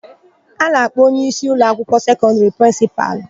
A na-akpọ onyeisi ụlọakwụkwọ sekọndịrị prịnsịpalụ.